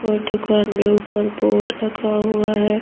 और दुकान में ऊपर बोर्ड लगा हुआ है।